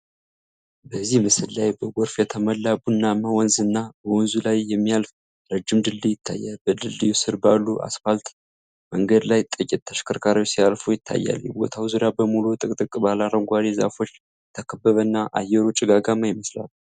በዚህ ምስል ላይ በጎርፍ የተሞላ ቡናማ ወንዝ እና በወንዙ ላይ የሚያልፍ ረጅም ድልድይ ይታያል። በድልድዩ ስር ባለ አስፋልት መንገድ ላይ ጥቂት ተሽከርካሪዎች ሲያልፉ ይታያሉ። የቦታው ዙሪያ በሙሉ ጥቅጥቅ ባለ አረንጓዴ ዛፎች የተከበበና፣ አየሩ ጭጋጋማ ይመስላል።